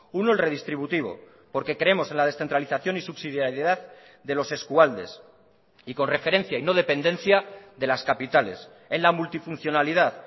uno el redistributivo porque creemos en la descentralización y subsidiaridad de los eskualdes y con referencia y no dependencia de las capitales en la multifuncionalidad